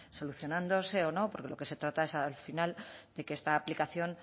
solucionándose o no porque de lo que se trata es al final de que esta aplicación